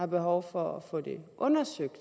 behov for at få det undersøgt